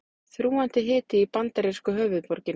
Þrúgandi hiti í bandarísku höfuðborginni